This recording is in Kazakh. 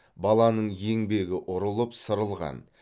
баланың еңбегі ұрылып сырылған